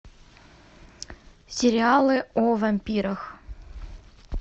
сериалы о вампирах